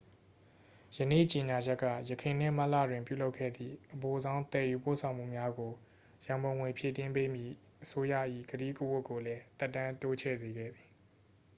ယနေ့ကြေညာချက်က ယခုနှစ် မတ်လတွင် ပြုလုပ်ခဲ့သည့် အပိုဆောင်းသယ်ယူပို့ဆောင်မှုများကို ရန်ပုံငွေဖြည့်တင်းပေးမည့် အစိုးရ၏ ကတိကဝတ်ကိုလည်း သက်တမ်းတိုးချဲ့စေခဲ့သည်